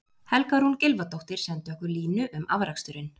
Helga Rún Gylfadóttir sendi okkur línu um afraksturinn: